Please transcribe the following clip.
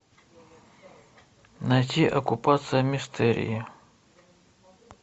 найти оккупация мистерии